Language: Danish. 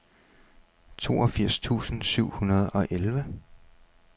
toogfirs tusind syv hundrede og elleve